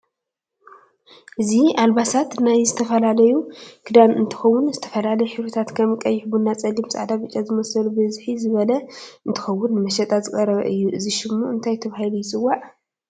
እዚ ኣልባሳት ናይ ዝተፈላላዩ ክዳን እንትከውን ዝተፈላለዩ ሕብሪታት ከም ቀይሕ፣ ቡና፣ ፀሊም፣ ፃዕዳ፣ ብጫ ዝምሰሉ ብዝሒ ዝበለ እንትከውን ንምሸጣ ዝቀረበ እዩ እዚ ሹሙ እንታይ ተበሂሉ ይፅዋዕ?